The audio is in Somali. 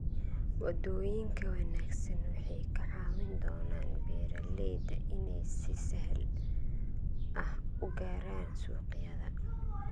Wadooyinka wanaagsan waxay ka caawin doonaan beeralayda inay si sahal ah u gaaraan suuqyada.